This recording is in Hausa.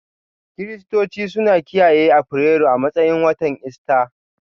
Kiristoci suna kiyaye Afrilu a matsayin watan Ista.